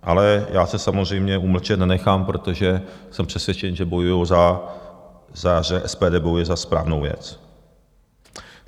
Ale já se samozřejmě umlčet nenechám, protože jsem přesvědčen, že SPD bojuje za správnou věc.